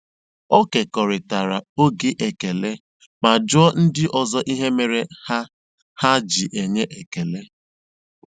Ọ kekọrịtara oge ekele ma jụọ ndị ọzọ ihe mere ha ha ji enye ekele.